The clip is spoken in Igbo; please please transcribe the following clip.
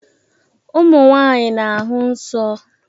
Ụmụ nwaanyị na-ahụ nsọ.